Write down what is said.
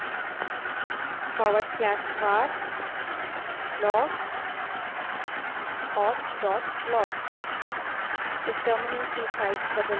tailf/var/log/auth log